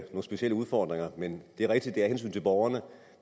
specielle udfordringer men det er rigtigt er af hensyn til borgerne